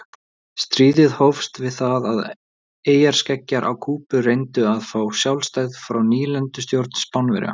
Stríðið hófst við það að eyjarskeggjar á Kúbu reyndu að fá sjálfstæði frá nýlendustjórn Spánverja.